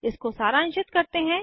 इसको सारांशित करते हैं